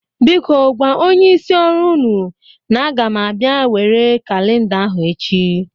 Biko gwa onyeisi ọrụ ụnụ na aga m abịa nwere kalinda ahụ echi.